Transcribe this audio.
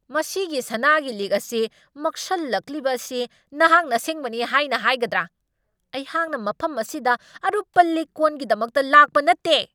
ꯃꯁꯤꯒꯤ ꯁꯅꯥꯒꯤ ꯂꯤꯛ ꯑꯁꯤ ꯃꯛꯁꯜꯂꯛꯂꯤꯕ ꯑꯁꯤ ꯅꯍꯥꯛꯅ ꯑꯁꯦꯡꯕꯅꯤ ꯍꯥꯏꯅ ꯍꯥꯏꯒꯗ꯭ꯔꯥ? ꯑꯩꯍꯥꯛꯅ ꯃꯐꯝ ꯑꯁꯤꯗ ꯑꯔꯨꯞꯄ ꯂꯤꯛ ꯀꯣꯟꯒꯤꯗꯃꯛꯇ ꯂꯥꯛꯄ ꯅꯠꯇꯦ!